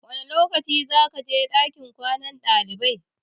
Wane lokaci zakaje ɗakin kwanan ɗalibai?